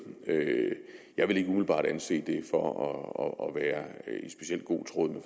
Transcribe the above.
jeg vil ikke umiddelbart anse det for at være i specielt god tråd med